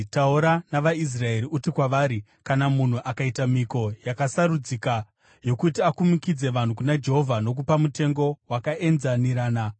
“Taura navaIsraeri uti kwavari, ‘Kana munhu akaita mhiko yakasarudzika yokuti akumikidze vanhu kuna Jehovha nokupa mutengo wakaenzanirana,